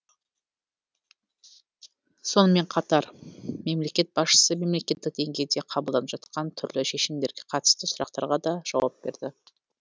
сонымен қатар мемлекет басшысы мемлекеттік деңгейде қабылданып жатқан түрлі шешімдерге қатысты сұрақтарға да жауап берді